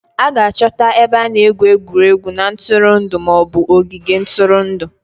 A ga-achọta ebe a na-egwu egwuregwu na ntụrụndụ ma ọ bụ ogige ntụrụndụ